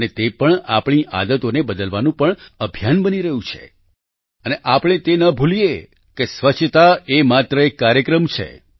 અને તે આપણી આદતોને બદલવાનું પણ અભિયાન બની રહ્યું છે અને આપણે તે ન ભૂલીએ કે સ્વચ્છતા એ માત્ર એક કાર્યક્રમ છે